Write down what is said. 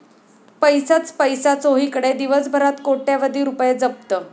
पैसाच पैसा चोहीकडे, दिवसभरात कोट्यवधी रूपये जप्त